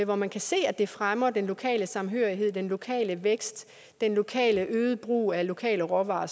hvor man kan se at det fremmer den lokale samhørighed den lokale vækst den lokale øgede brug af lokale råvarer